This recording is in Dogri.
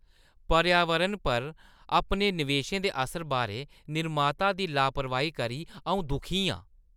पर्यावरण पर अपने निवेश दे असर बारै निर्माता दी लापरवाही करी अ‘ऊं दुखी आं।